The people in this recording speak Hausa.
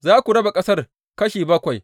Za ku raba ƙasar kashi bakwai.